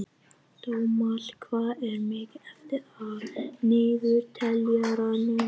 Dómald, hvað er mikið eftir af niðurteljaranum?